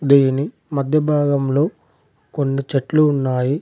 దీని మధ్య భాగంలో కొన్ని చెట్లు ఉన్నాయి.